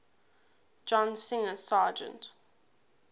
john singer sargent